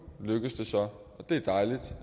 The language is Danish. lykkes det så det